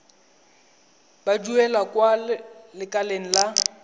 ba duelang kwa lekaleng la